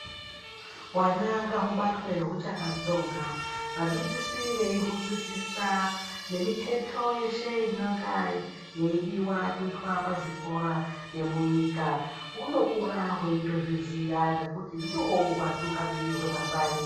Hwana ngaubatwe huchakatsonga vadzidzisi veihudzidzisa nemiketo yeshe inonga yeidiva kuita pazvikora nemunyika. Hunokura hweitozviziya ngekuti ndiho hwatungamiri hwemangwani.